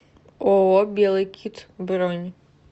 ооо белый кит бронь